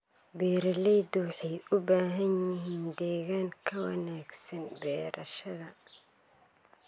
Beeraleydu waxay u baahan yihiin deegaan ka wanaagsan beerashada.